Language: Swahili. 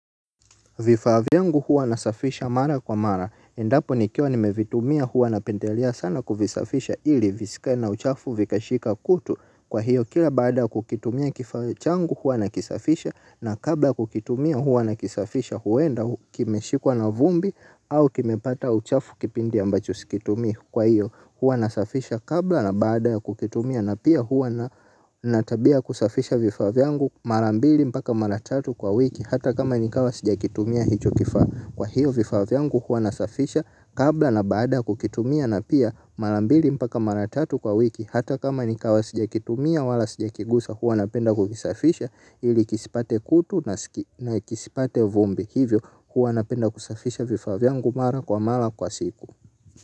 Vifaa vyangu huwa nasafisha mara kwa mara. Endapo nikiwa nimevitumia huwa napendela sana kufisafisha ili visikae na uchafu vikashika kutu kwa hiyo kila baada kukitumia kifaa changu huwa nakisafisha na kabla kukitumia huwa na kisafisha huenda kimeshikwa na vumbi au kimepata uchafu kipindi ambacho sikitumii kwa hiyo huwa nasafisha kabla na baada ya kukitumia na pia huwa na natabia kusafisha vifaa vyangu marambili mpaka mara tatu kwa wiki. Hata kama nikawa sija kitumia hicho kifaa kwa hiyo vifaa vyangu hua nasafisha kabla na baada kukitumia na pia mara mbili mpaka mara tatu kwa wiki hata kama nikawa sija kitumia wala sija kigusa hua napenda kukisafisha ili kisipate kutu na kisipate vumbi hivyo hua napenda kusafisha vifaa vyangu mara kwa mara kwa siku.